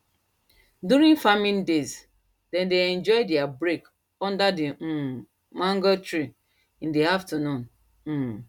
during farming days them dey enjoy there break under the um mango tree in the afternoon um